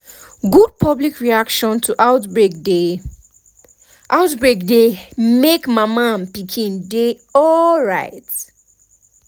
good public reaction to outbreak dey outbreak dey make mama and pikin dey alright